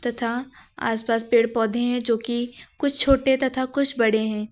तथा आसपास पेड़ पौधे है जो कि कुछ छोटे तथा कुछ बड़े है।